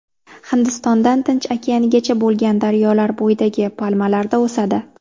Hindistondan Tinch okeanigacha bo‘lgan daryolar bo‘yidagi palmalarda o‘sadi.